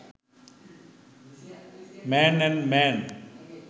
man and man